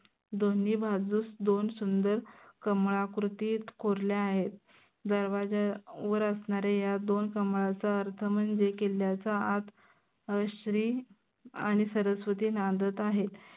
दोन्ही बाजूस दोन सुंदर कमळाकृतीत कोरल्या आहेत. दरवाज्यावर असनाऱ्या या दोन कमळाचा अर्थ म्हनजे लिक्क्याच्या आत श्री आनि सरस्वती नांदत आहेत.